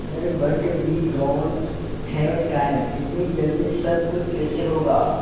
sir but we don't have time इतनी जल्दी सब कुछ कैसे होगा